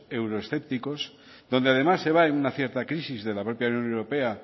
de los euroescépticos donde además se va en una cierta crisis de la propia unión europea